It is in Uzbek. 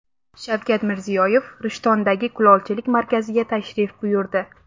Shavkat Mirziyoyev Rishtondagi kulolchilik markaziga tashrif buyurdi.